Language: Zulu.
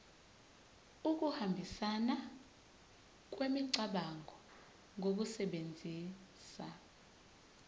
ukuhambisana kwemicabango ngokusebenzisa